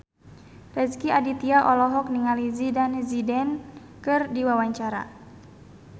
Rezky Aditya olohok ningali Zidane Zidane keur diwawancara